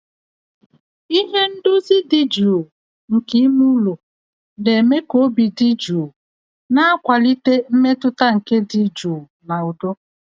Ihe ndozi dị jụụ nke ime ụlọ na-eme ka obi dị jụụ, na-akwalite mmetụta nke ịdị jụụ na udo